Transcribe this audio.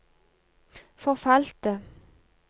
forfalte